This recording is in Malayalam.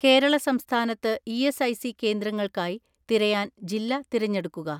കേരള സംസ്ഥാനത്ത് ഇ.എസ്.ഐ.സി കേന്ദ്രങ്ങൾക്കായി തിരയാൻ ജില്ല തിരഞ്ഞെടുക്കുക.